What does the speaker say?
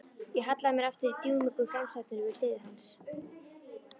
Ég hallaði mér aftur í dúnmjúku framsætinu við hlið hans.